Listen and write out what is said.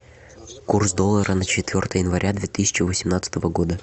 курс доллара на четвертое января две тысячи восемнадцатого года